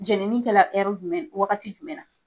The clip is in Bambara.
Jɛnini kɛra jumɛn ? Wagati jumɛn ?